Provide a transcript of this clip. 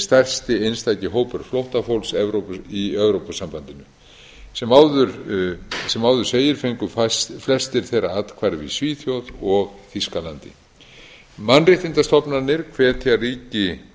stærsti einstaki hópur flóttafólks í evrópusambandinu sem áður segir fengu flestir þeirra athvarf í svíþjóð og þýskalandi mannréttindastofnanir hvetja ríki